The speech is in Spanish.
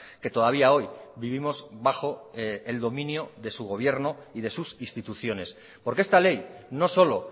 que todavía hoy vivimos bajo el dominio de su gobierno y de sus instituciones por que esta ley no solo